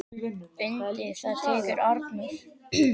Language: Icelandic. Undir það tekur Arnór.